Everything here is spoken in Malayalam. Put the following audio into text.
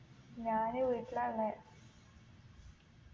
ഞാന് വീട്ടിലാ ഉള്ളെ